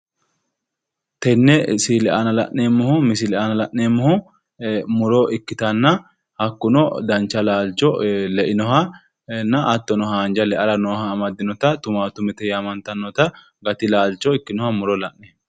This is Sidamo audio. Tene misile aana la'neemmoti murote ,su'maseno Timatimete yinanni haaro xaalla duu'mite le'annni noote